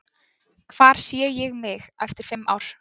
Hvar sé ég mig eftir fimm ár?